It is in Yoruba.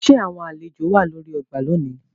Ṣe awọn alejo wà lórí ọgbà lónì?